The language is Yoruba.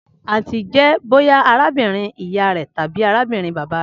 Anti jẹ boya arabinrin iya rẹ tabi arabinrin baba rẹ.